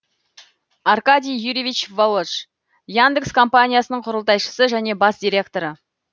аркадий юрьевич волож яндекс компаниясының құрылтайшысы және бас директоры